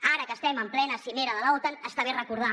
ara que estem en plena cimera de l’otan està bé recordar